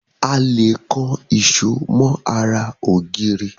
A lè kan èṣó mọ́ ara ògiri.